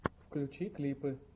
включи клипы